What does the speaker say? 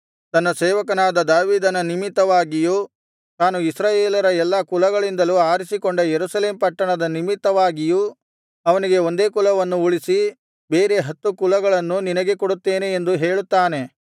ತನ್ನ ಸೇವಕನಾದ ದಾವೀದನ ನಿಮಿತ್ತವಾಗಿಯೂ ತಾನು ಇಸ್ರಾಯೇಲರ ಎಲ್ಲಾ ಕುಲಗಳಿಂದ ಆರಿಸಿಕೊಂಡ ಯೆರೂಸಲೇಮ್ ಪಟ್ಟಣದ ನಿಮಿತ್ತವಾಗಿಯೂ ಅವನಿಗೆ ಒಂದೇ ಕುಲವನ್ನು ಉಳಿಸಿ ಬೇರೆ ಹತ್ತು ಕುಲಗಳನ್ನು ನಿನಗೆ ಕೊಡುತ್ತೇನೆ ಎಂದು ಹೇಳುತ್ತಾನೆ